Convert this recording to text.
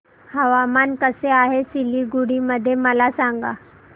हवामान कसे आहे सिलीगुडी मध्ये मला सांगा